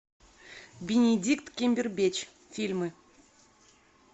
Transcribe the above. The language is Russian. бенедикт камбербэтч фильмы